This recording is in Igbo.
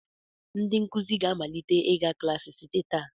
Ndị nkụzi ga-amalite ịga klaasị site taa.